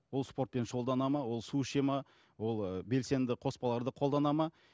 ол спортпен шұғылданады ма ол су ішеді ме ол ыыы белсенді қоспаларды қолданады ма